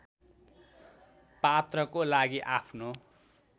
पात्रको लागि आफ्नो